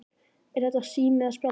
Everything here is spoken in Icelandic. Er þetta sími eða spjaldtölva?